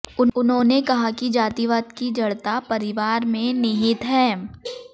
उन्होंने कहा कि जातिवाद की जड़ता परिवार में निहित है